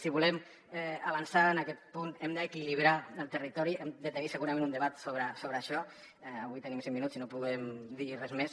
si volem avançar en aquest punt hem d’equilibrar el territori hem de tenir segurament un debat sobre això avui tenim cinc minuts i no podem dir res més